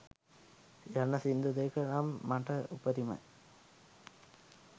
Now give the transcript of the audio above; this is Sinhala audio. යන සිංදු දෙක නම් මට උපරිමයි.